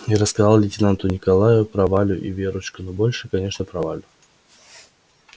и рассказал лейтенанту николаю про валю и верочку но больше конечно про валю